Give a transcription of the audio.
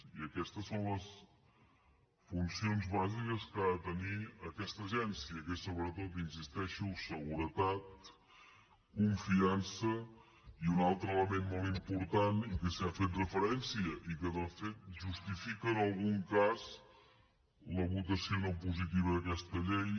i aquestes són les funcions bàsiques que ha de tenir aquesta agència que són sobretot hi insisteixo seguretat confiança i un altre element molt important i que s’hi ha fet referència i que de fet justifica en algun cas la votació no positiva d’aquesta llei